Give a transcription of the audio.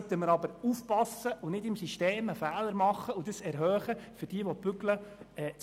Nun sollten wir aber aufpassen und im System keinen Fehler machen, indem wir diejenigen belohnen, die nicht arbeiten.